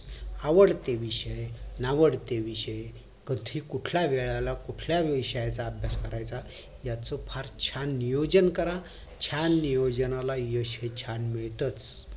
आवडते विषय नावडते विषय कधी कुठल्या वेळाला कुठल्या विषयाचा अभ्यास करायचा याच फार छान नियोजन करा छान नियोजनाला यश हे छान मिळतच